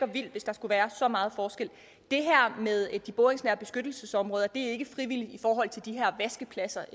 vildt hvis der skulle være så meget forskel det her med de boringsnære beskyttelsesområder er ikke frivilligt i forhold til de her vaskepladser